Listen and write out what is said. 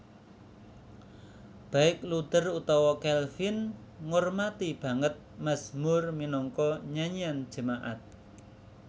Baik Luther utawa Calvin ngormati banget mazmur minangka nyanyian jemaat